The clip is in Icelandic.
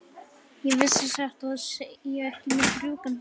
Ég vissi satt að segja ekki mitt rjúkandi ráð.